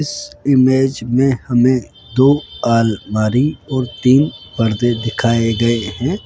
इस इमेज में हमें दो अलमारी और तीन पर्दे दिखाए गए हैं।